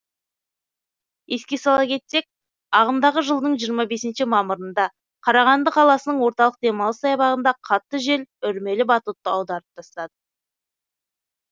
еске сала кетсек ағымдағы жылдың жиырма бесінші мамырында қарағанды қаласының орталық демалыс саябағында қатты жел үрмелі батутты аударып тастады